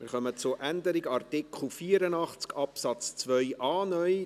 Wir kommen zur Änderung von Artikel 84 Absatz 2a (neu).